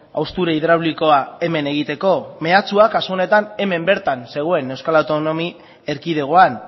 haustura hidraulikoa hemen egiteko mehatxua kasu honetan hemen bertan zegoen euskal autonomia erkidegoan